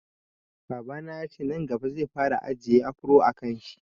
Babana yace nan gaba zai fara ajiye afro a kanshi